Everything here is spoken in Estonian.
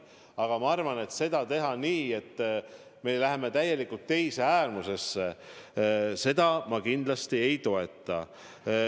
Aga ma arvan, et teha seda nii, et me läheme täielikult teise äärmusesse – seda ma kindlasti ei toeta.